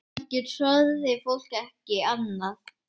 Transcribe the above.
Kannski þorði fólk ekki annað?